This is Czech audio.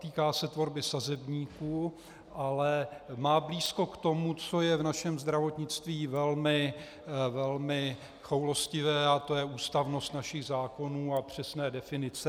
Týká se tvorby sazebníků, ale má blízko k tomu, co je v našem zdravotnictví velmi choulostivé, a to je ústavnost našich zákonů a přesné definice.